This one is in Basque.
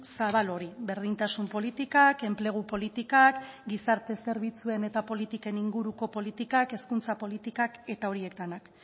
zabal hori berdintasun politikak enplegu politikak gizarte zerbitzuen eta politiken inguruko politikak hezkuntza politikak eta horiek denak